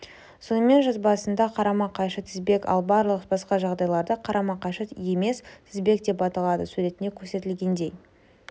сонымен жазбасында қарама-қайшы тізбек ал барлық басқа жағдайларда қарама-қайшы емес тізбек деп аталады суретінде көрсетілгендей